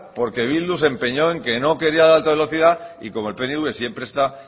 porque bildu se empeñó en que no quería la alta velocidad y como el pnv siempre está